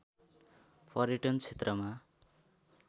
पर्यटन क्षेत्रमा